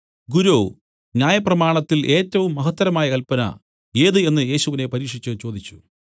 ഗുരോ ന്യായപ്രമാണത്തിൽ ഏറ്റവും മഹത്തരമായ കല്പന ഏത് എന്നു യേശുവിനെ പരീക്ഷിച്ച് ചോദിച്ചു